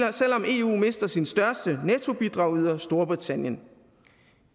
om eu mister sin største nettobidragyder storbritannien